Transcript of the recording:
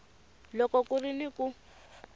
loko ku ri ni ku